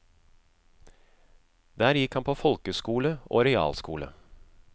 Der gikk han på folkeskole og realskole.